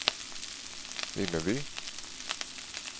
Vimmerby